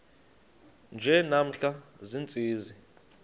nje namhla ziintsizi